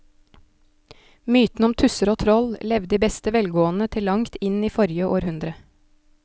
Mytene om tusser og troll levde i beste velgående til langt inn i forrige århundre.